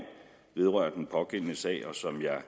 vedrørende den pågældende sag og som jeg